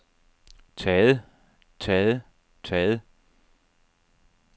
taget taget taget